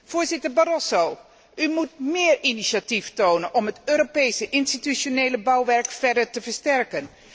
Voorzitter Barroso, u moet meer initiatief tonen om het Europese institutionele bouwwerk verder te versterken.